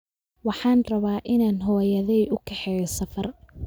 Waxaan rabaa inaan hooyaday u kaxeeyo safar